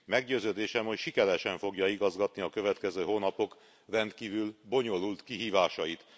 Meggyőződésem, hogy sikeresen fogja igazgatni a következő hónapok rendkívül bonyolult kihívásait.